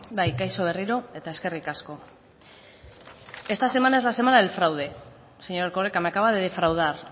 bai kaixo berriro eta eskerrik asko esta semana es la semana del fraude señor erkoreka me acaba de defraudar